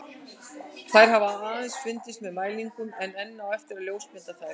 Þær hafa aðeins fundist með mælingum en enn á eftir að ljósmynda þær.